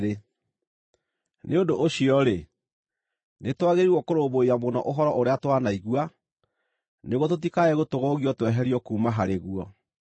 Nĩ ũndũ ũcio-rĩ, nĩtwagĩrĩirwo kũrũmbũiya mũno ũhoro ũrĩa twanaigua, nĩguo tũtikae gũtũgũgio tweherio kuuma harĩ guo.